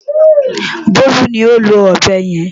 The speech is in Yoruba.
Bólú ni ó lo ọ̀bẹ yẹn.